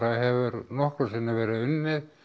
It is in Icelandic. hefur nokkru sinni verið unnið